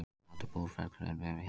Aldur Búrfellshrauns við Hafnarfjörð.